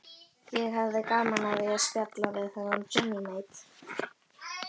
Ég hefði gaman af því að spjalla við þennan Johnny Mate.